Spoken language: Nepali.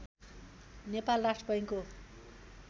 नेपाल राष्ट्र बैङ्कको